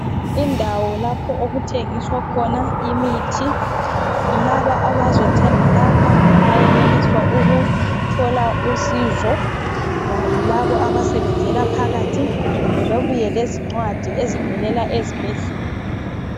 Indawo lapho okuthengiswa khona imithi. Labo abazothenga lapha, bayenelisa ukuthola usizo, kulaba abasebenzela phakathi. Kumbe babuye lezincwadi ezivela ezibhedlela.